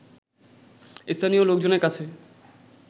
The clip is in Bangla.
“স্থানীয় লোকজনের কাছে